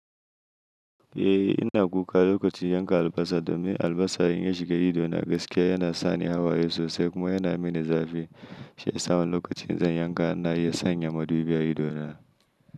Eh ina kuka lokacin yanka albasa domin albasa in ya shiga ido na gaskiya yana sani hawaye sosai kuma yana mini zafi. Shiyasa wani lokacin in zan yanka ina yin sanya madubi a ido na.